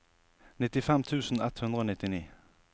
nittifem tusen ett hundre og nittini